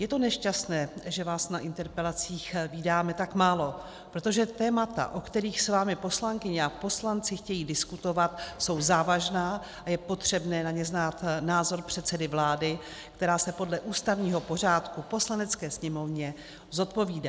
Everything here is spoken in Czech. Je to nešťastné, že vás na interpelacích vídáme tak málo, protože témata, o kterých s vámi poslankyně a poslanci chtějí diskutovat, jsou závažná a je potřebné na ně znát názor předsedy vlády, která se podle ústavního pořádku Poslanecké sněmovně zodpovídá.